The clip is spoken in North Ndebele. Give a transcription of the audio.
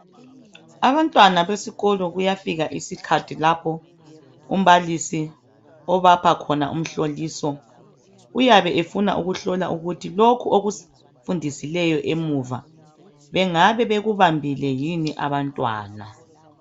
Abantwana besikolo kuyafika isikhathi lapho umbalisi obapha khona umhloliso. Uyabe efuna ukuhlola ukuthi lokho okufundisileyo emuva bengabe bekubambile yini abantwana.